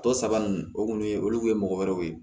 Tɔ saba ninnu o kun ye olu kun ye mɔgɔ wɛrɛw ye